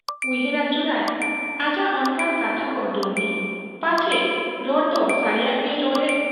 ᱩᱭᱦᱟᱹᱨ ᱟᱹᱪᱩᱨᱟᱭ ᱟᱡᱟᱜ ᱚᱱᱠᱟᱱ ᱠᱟᱛᱷᱟᱠᱚ ᱰᱩᱢᱱᱤ ᱾ ᱯᱟᱪᱷᱮ ᱨᱚᱲᱫᱚ ᱥᱟᱹᱨᱤᱭᱟᱜ ᱜᱮᱭ ᱨᱚᱲᱮᱫ ?